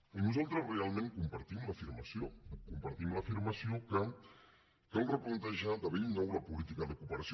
i nosaltres realment compartim l’afirmació que cal replantejar de bell nou la política de cooperació